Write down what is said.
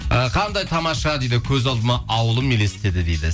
і қандай тамаша дейді көз алдыма ауылым елестеді дейді